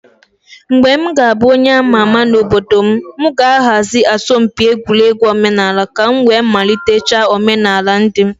When I will become a prominent person in my community, I will organize a folk song competition in order to revive the tradition of my people